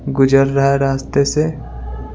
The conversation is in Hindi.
गुजर रहा है रास्ते से।